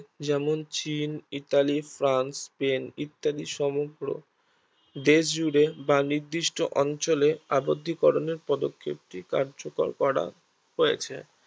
যেমন চীন, Italy, France, Spain ইত্যাদি সমগ্র দেশজুড়ে বা নির্দিষ্ট অঞ্চলে আবদ্ধী করণের পদক্ষেপ টি কার্যকর করা হয়েছে